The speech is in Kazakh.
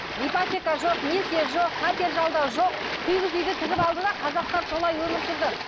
ипотека жоқ несие жоқ пәтер жалдау жоқ кигіз үйді тігіп алды да қазақтар солай өмір сүрді